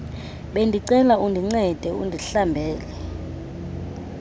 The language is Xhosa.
bendicela undincede undihlambele